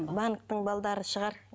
банктің шығар